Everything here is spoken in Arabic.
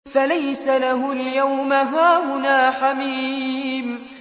فَلَيْسَ لَهُ الْيَوْمَ هَاهُنَا حَمِيمٌ